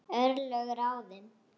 Örlög ráðin